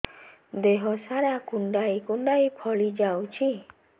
ଦେହ ସାରା କୁଣ୍ଡାଇ କୁଣ୍ଡାଇ ଫଳି ଯାଉଛି